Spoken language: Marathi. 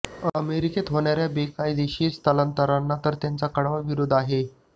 अमेरिकेत होणाऱ्या बेकायदेशीर स्थलांतराला तर त्यांचा कडवा विरोध आहेच